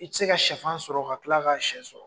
I ti se ka siyɛfan sɔrɔ ka tila ka siyɛ sɔrɔ.